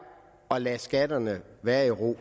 at lade skatterne være i ro